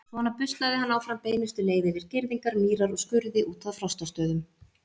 Svona buslaði hann áfram beinustu leið yfir girðingar, mýrar og skurði út að Frostastöðum.